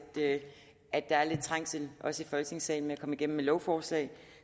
at der er lidt trængsel også i folketingssalen med at komme igennem med lovforslag